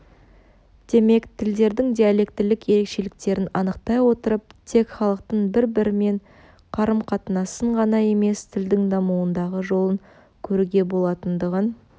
демек тілдердің диалектілік ерекшеліктерін анықтай отырып тек халықтың бір-бірімен қарым-қатынасын ғана емес тілдің дамуындағы жолын көруге болатындығын